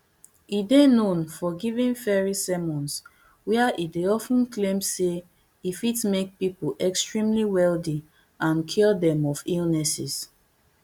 e dey known for giving fiery sermons wia e dey of ten claim say e fit make pipo extremely wealthy and cure dem of illnesses